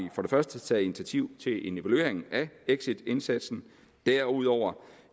taget initiativ til en evaluering af exitindsatsen derudover